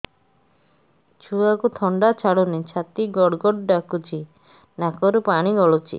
ଛୁଆକୁ ଥଣ୍ଡା ଛାଡୁନି ଛାତି ଗଡ୍ ଗଡ୍ ଡାକୁଚି ନାକରୁ ପାଣି ଗଳୁଚି